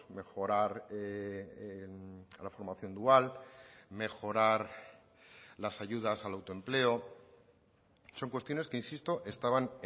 mejorar la formación dual mejorar las ayudas al autoempleo son cuestiones que insisto estaban